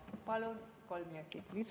Palun kolm minutit lisaaega.